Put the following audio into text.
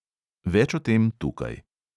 Več o tem tukaj.